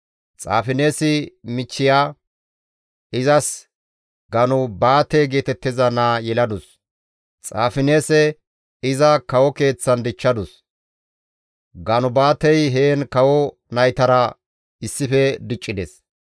Xaafineesi michchiya izas Ganubaate geetettiza naa yeladus; Xaafineese iza kawo keeththan dichchadus; Ganubaatey heen kawo naytara issife diccides.